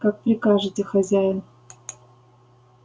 как прикажете хозяин